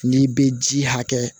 N'i bɛ ji hakɛ